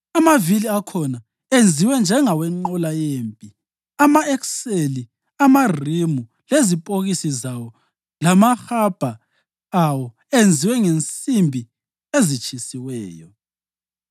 Amavili akhona enziwe njengawenqola yempi, ama-ekseli, amarimu, lezipokisi zawo lamahabha awo enziwe ngensimbi ezitshisiweyo.